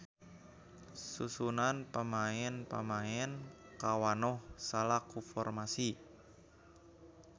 Susunan pamaen-pamaen kawanoh salaku formasi.